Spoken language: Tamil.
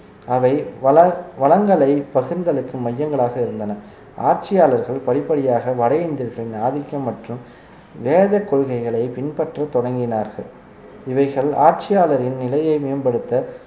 அவை வள~ வளங்களை பகிர்ந்தளிக்கும் மையங்களாக இருந்தன ஆட்சியாளர்கள் படிப்படியாக வட இந்தியர்களின் ஆதிக்கம் மற்றும் வேதக் கொள்கைகளை பின்பற்ற தொடங்கினார்கள் இவைகள் ஆட்சியாளரின் நிலையை மேம்படுத்த